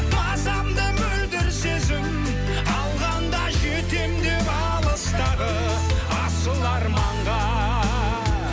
мазамды мөлдір сезім алғанда жетемін деп алыстағы асыл арманға